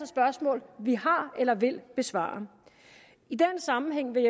spørgsmål vi har eller vil besvare i den sammenhæng vil